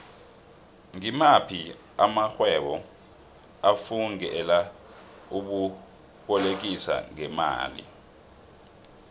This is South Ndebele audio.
ngimaphi amaxhhwebo afungele ukubolekisano ngemali